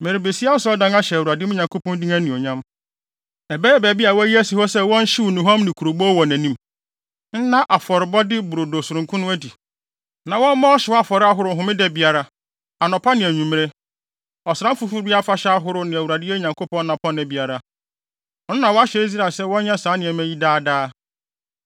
Merebesi Asɔredan ahyɛ Awurade, me Nyankopɔn din anuonyam. Ɛbɛyɛ baabi bi a wɔayi asi hɔ sɛ wɔnhyew nnuhuam ne kurobow wɔ nʼanim, nna afɔrebɔde brodo sononko no adi, na wɔmmɔ ɔhyew afɔre ahorow homeda biara, anɔpa ne anwummere, Ɔsram Foforo biara afahyɛ ahorow ne Awurade yɛn Nyankopɔn nnapɔnna biara. Ɔno na wahyɛ Israel sɛ wɔnyɛ saa nneɛma yi daa daa.